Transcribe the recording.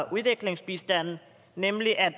udviklingsbistanden nemlig at